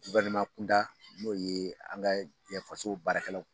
Balima kunda n'o ye an ka yan faso baarakɛlaw